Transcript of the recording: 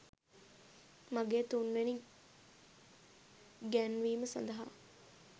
මගේ තුන්වෙනි ගැන්වීම සඳහා